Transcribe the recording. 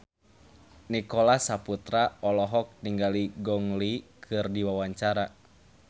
Nicholas Saputra olohok ningali Gong Li keur diwawancara